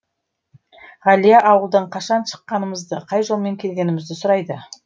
ғалия ауылдан қашан шыққанымызды қай жолмен келгенімізді сұрайды